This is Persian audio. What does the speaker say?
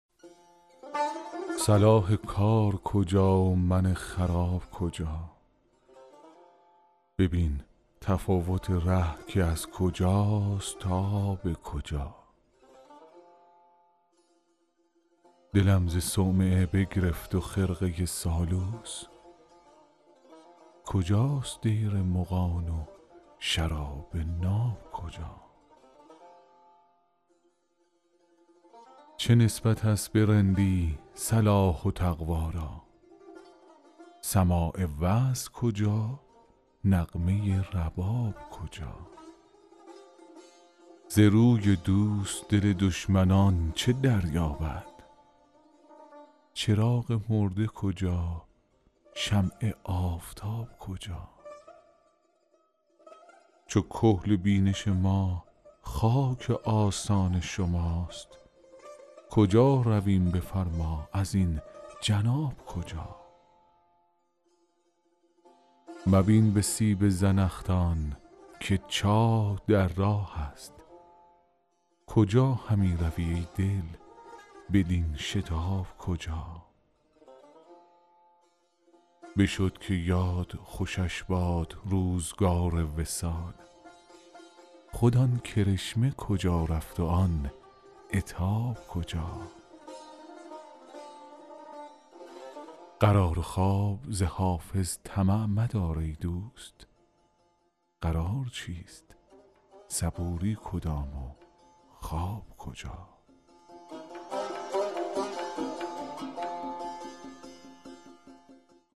صلاح کار کجا و من خراب کجا ببین تفاوت ره کز کجاست تا به کجا دلم ز صومعه بگرفت و خرقه سالوس کجاست دیر مغان و شراب ناب کجا چه نسبت است به رندی صلاح و تقوا را سماع وعظ کجا نغمه رباب کجا ز روی دوست دل دشمنان چه دریابد چراغ مرده کجا شمع آفتاب کجا چو کحل بینش ما خاک آستان شماست کجا رویم بفرما ازین جناب کجا مبین به سیب زنخدان که چاه در راه است کجا همی روی ای دل بدین شتاب کجا بشد که یاد خوشش باد روزگار وصال خود آن کرشمه کجا رفت و آن عتاب کجا قرار و خواب ز حافظ طمع مدار ای دوست قرار چیست صبوری کدام و خواب کجا